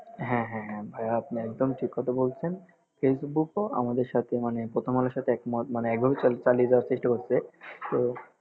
হ্যাঁ হ্যাঁ ভাইয়া আপনি একদম ঠিক কথা বলছেন ফেসবুকও আমাদের সাথে মানে প্রথমআলোর সাথে একমত মানে একভাবে চালিয়ে যাওয়ার চেষ্টা করছে তো